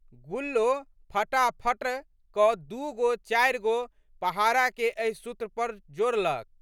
गुल्लो फटाकफटाक दू गो चारि गो पहाड़ाके एहि सूत्र पर डोड़लक।